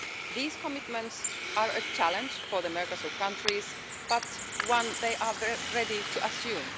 These commitments are a challenge for the Mercosur countries, but one they are ready to assume.